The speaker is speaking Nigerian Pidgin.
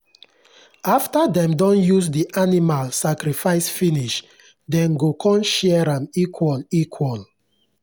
after dem don use the animal sacrifice finish dem go con share am equal equal